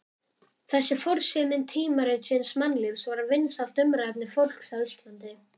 Þessi forsíðumynd tímaritsins Mannlífs var vinsælt umræðuefni fólks á Íslandi.